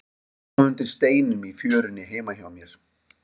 Ég fann þá undir steinum í fjörunni heima hjá mér.